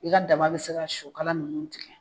I ka daba bi se ka sɔkala nunnu tigɛ